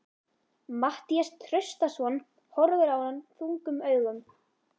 Matthías Traustason horfir á hann þungum augum.